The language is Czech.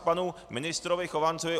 K panu ministrovi Chovancovi.